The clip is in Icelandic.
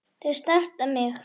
Það snerti mig.